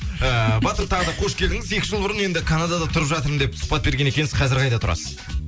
ыыы батыр тағы да қош келдіңіз екі жыл бұрын енді канадада тұрып жатырмын деп сұхбат берген екенсіз қазір қайда тұрасыз